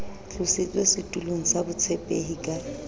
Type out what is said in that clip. tlositswe setulong sa botshepehi ka